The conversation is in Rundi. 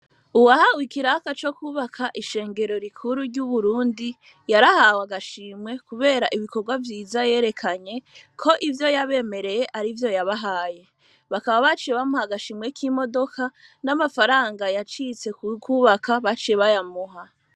Uwahawe ikiraka co kubaka ishengero rikuru ry,uburundi yarahawe agashimwe kubera ibikorwa vyiza yerekanye ko ivyo yabemereye arivyo yabahaye bakaba baciye bamuha agashimwe k,imodoka n,amafaranga yacitse kukubaka baciye bayamuha